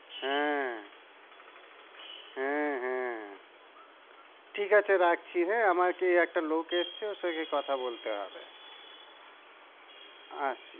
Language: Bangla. হ্যাঁ, হ্যাঁ হ্যাঁ, ঠিক আছে, রাখছি, হ্যাঁ? আমার কি একটা এসছে ওর সঙ্গে গিয়ে কথা বলতে হবে। আচ্ছা।